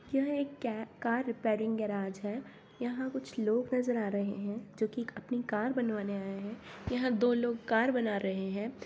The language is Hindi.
यह एक क़े-कार रिपेयरिंग गेराज है यहाँ कुछ लोग नजर आ रहे है जो कि अपनी कार बनवाने आए है यहाँ दो लोग कार बना रहे है।